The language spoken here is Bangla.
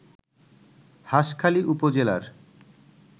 হাসখালী উপজেলার